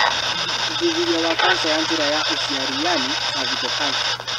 Ũthuthuria wa kanca ya njĩra ya ũciari yaani cervical cancer